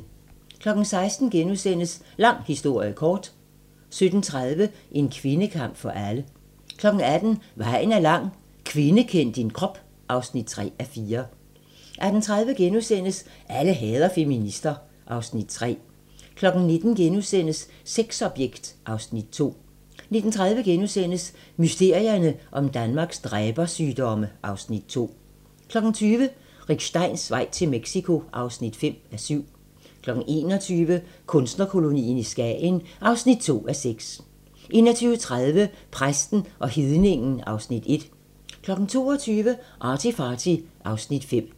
16:00: Lang historie kort * 17:30: En kvindekamp for alle 18:00: Vejen er lang - Kvinde kend din krop (3:4) 18:30: Alle hader feminister (Afs. 3)* 19:00: Sexobjekt (Afs. 2)* 19:30: Mysterierne om Danmarks dræbersygdomme (Afs. 2)* 20:00: Rick Steins vej til Mexico (5:7) 21:00: Kunstnerkolonien i Skagen (2:6) 21:30: Præsten og hedningen (Afs. 1) 22:00: ArtyFarty (Afs. 5)